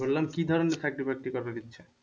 বললাম কি ধরনের চাকরি বাকরি করার ইচ্ছে?